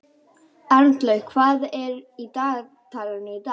Arnlaugur, hvað er á dagatalinu í dag?